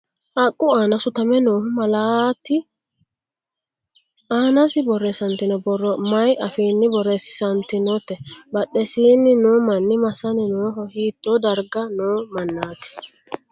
Haqqu aana sutame noohu malati? Aanasi borreessantino borro maay alfiinni boreessantinote? Badhesiinni noo manni massanni nooho? Hiito darga noo mannaati?